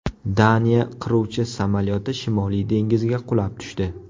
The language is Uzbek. Daniya qiruvchi samolyoti Shimoliy dengizga qulab tushdi .